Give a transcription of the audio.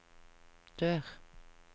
dør